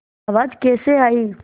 आवाज़ कैसे आई